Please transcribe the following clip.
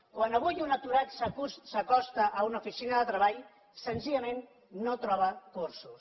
quan avui un aturat s’acosta a una oficina de treball senzillament no troba cursos